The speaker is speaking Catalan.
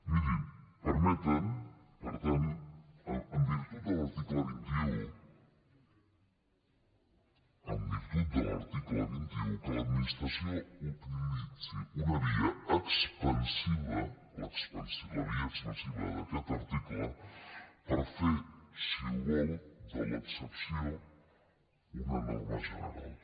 mirin permeten per tant en virtut de l’article vint un en virtut de l’article vint un que l’administració utilitzi una via expansiva la via expansiva d’aquest article per fer si ho vol de l’excepció una norma general